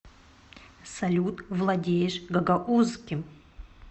салют владеешь гагаузским